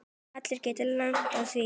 Allir geta lent í því.